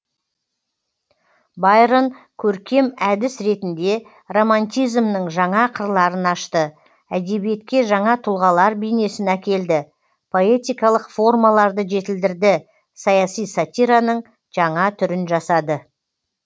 байрон көркем әдіс ретінде романтизмнің жаңа қырларын ашты әдебиетке жаңа тұлғалар бейнесін әкелді поэтикалық формаларды жетілдірді саяси сатираның жаңа түрін жасады